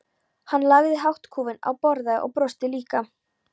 Hann lagði hattkúfinn á borðið og brosti líka.